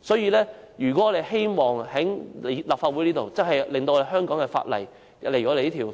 所以，如果我們真的希望在立法會促使香港的法例及這項有關